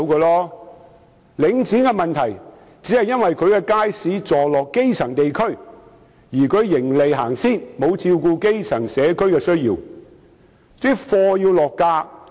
領展的問題只是其街市座落基層地區，並以盈利為出發點，沒有照顧基層地區的需要。